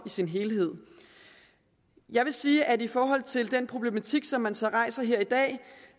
sin helhed jeg vil sige at i forhold til den problematik som man så rejser her i dag